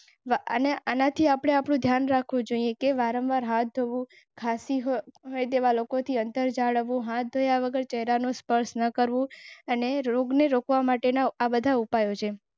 અને આનાથી આપણે ધ્યાન રાખવું જોઇએ કે વારંવાર હાથ. એવા લોકોથી અંતર જાળવો હાથ ધોયા વગર ખેરાનો સ્પર્શ ન કરવો અને રોગને રોકવા માટે ના આ બધા ઉપાયો છે.